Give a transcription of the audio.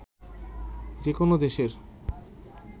যে কোনো দেশের